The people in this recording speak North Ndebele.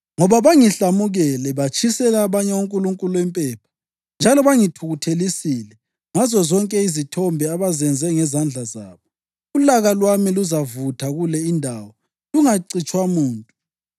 Ngoba bangihlamukele, batshisela abanye onkulunkulu impepha, njalo bangithukuthelisile ngazozonke izithombe abazenze ngezandla zabo, ulaka lwami luzavutha kule indawo lungacitshwa muntu.’